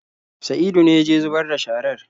Saidu ne ya je zubar da sharar.